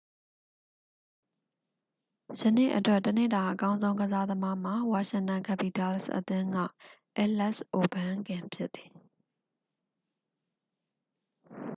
ယနေ့အတွက် တစ်နေ့တာအကောင်းဆုံး ကစားသမားမှာ washington capitals အသင်း၏ အဲလက်စ်အိုဗန်းကင် ဖြစ်သည်